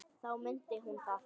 Þá mundi hún það.